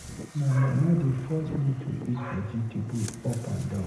My mama dey force me to eat vegetable up and down